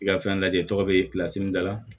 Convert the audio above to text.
I ka fɛn lajɛ e tɔgɔ bɛ da la